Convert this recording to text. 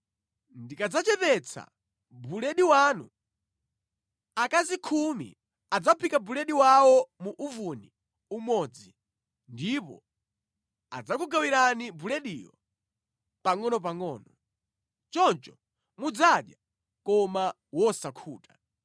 Ndikadzachepetsa buledi wanu, akazi khumi adzaphika buledi wawo mu uvuni umodzi, ndipo adzakugawirani bulediyo pangʼonopangʼono. Choncho mudzadya koma wosakhuta.